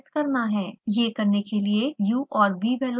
यह करने के लिए u और v velocity प्लॉट करते हैं